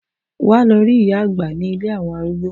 Wa lọ rí ìyá àgbà ní ilé àwọn arúgbó.